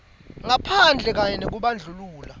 ngaphandle kanye nekubandlulula